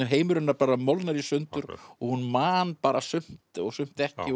heimur hennar molnar í sundur og hún man bara sumt og sumt ekki